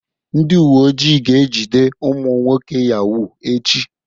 Ndị uwe ojii ga-ejide ụmụ nwoke yahoo echi.